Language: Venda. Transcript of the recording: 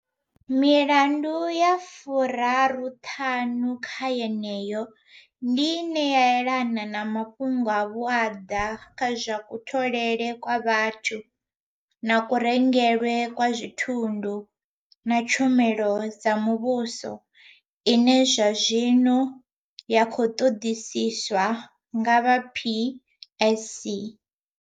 Milandu ya furaruṱhanu kha yeneyo, ndi ine ya elana na mafhungo a vhuaḓa kha zwa kutholele kwa vhathu na kurengelwe kwa thundu na tshumelo dza muvhuso ine zwazwino ya khou ṱoḓisiswa nga vha PSC.